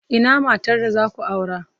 Ina matar da za ku aura?